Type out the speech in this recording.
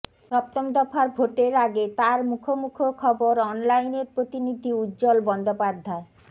সপ্তম দফার ভোটের আগে তাঁর মুখোমুখো খবরঅনলাইনের প্রতিনিধি উজ্জ্বল বন্দ্যোপাধ্যায়